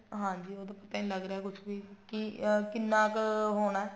ਹਾਂਜੀ ਉਹਦਾ ਪਤਾ ਨੀ ਲੱਗ ਰਿਹਾ ਕੁੱਛ ਵੀ ਕਿ ਅਹ ਕਿੰਨਾ ਕ ਹੋਣਾ